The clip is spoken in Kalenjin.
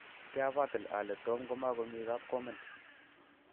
kiabatii ale Tom komakomii kapkomen.